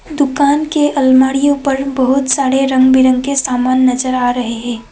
दुकान के अलमारीयों पर बहुत सारे रंग बिरंगे सामान नजर आ रहे हैं।